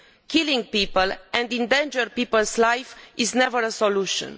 Killing people and endangering people's lives is never a solution.